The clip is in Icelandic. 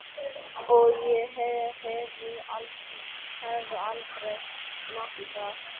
Og ég hefði heldur aldrei smakkað hrútspunga.